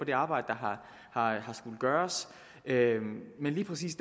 det arbejde der har skullet gøres men lige præcis